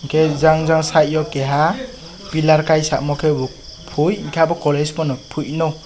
ke Jang Jang sade o keha pillar paisa samoi ke bo pui enke obo college pano pui.